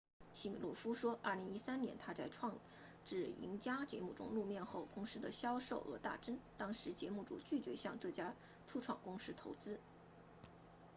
西米诺夫说2013年他在创智赢家节目中露面后公司的销售额大增当时节目组拒绝向这家初创公司投资